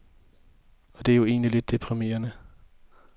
Og det er jo egentlig lidt deprimerende.